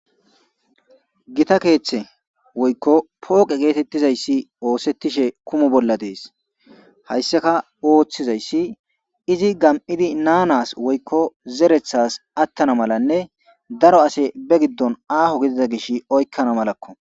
gita keeththe woykko pooqe geetettizayssi oosettishe kumu bolla dees hayssaka ooththizayssi izi gam7idi naanas woykko zerethas attana malanne daro ase be giddon aaho gedida gish oykkana malakko